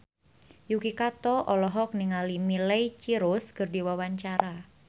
Yuki Kato olohok ningali Miley Cyrus keur diwawancara